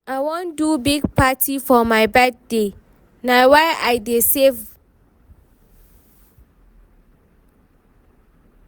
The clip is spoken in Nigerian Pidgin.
I wan do big party for my birthday, na why I dey save.